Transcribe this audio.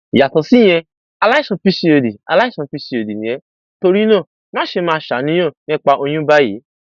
yàtọ síyẹn aláìsàn pcod aláìsàn pcod ni ẹ torí náà máṣe máa ṣàníyàn nípa oyún báyìí